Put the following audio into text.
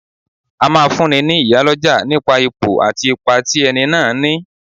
A máa fún ní, ní iyálọ́jà nipa Ipò àti ipa tí ẹni náà ní.